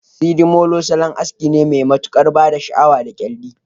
Sidimolo salon aski Mai matukar bada Sha awa da kyalli